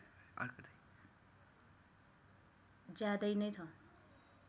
ज्यादै नै छ